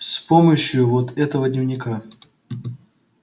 с помощью вот этого дневника